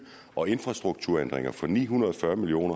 og infrastrukturændringer for ni hundrede og fyrre million